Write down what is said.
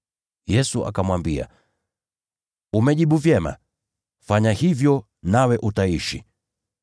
Yesu akamwambia, “Umejibu vyema. Fanya hivyo nawe utaishi.”